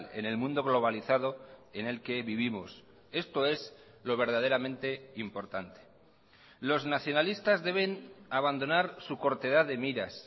en el mundo globalizado en el que vivimos esto es lo verdaderamente importante los nacionalistas deben abandonar su cortedad de miras